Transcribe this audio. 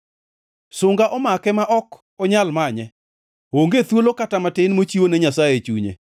Sunga omake ma ok onyal manye; onge thuolo kata matin mochiwo ne Nyasaye e chunye.